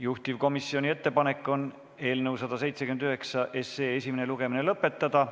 Juhtivkomisjoni ettepanek on eelnõu 179 esimene lugemine lõpetada.